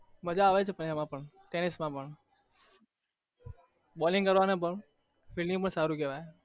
મજા આવે છે એમાં પણ ટેનીસ માં પણ bowling કરવાનું પણ flelding માં સારું કેવાય